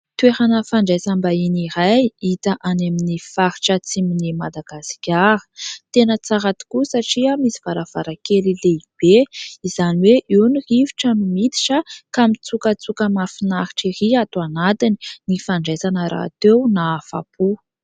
Toerana fandraisam-bahiny iray hita any amin'ny faritra atsimon'i Madagasikara, tena tsara tokoa satria misy varavarankely lehibe izany hoe eo ny rivotra no miditra ka mitsokatsoka mahafinaritra ery ato anatiny, ny fandraisana rahateo nahafa-po.